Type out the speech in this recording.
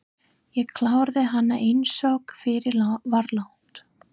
Ég kláraði hana einsog fyrir var lagt.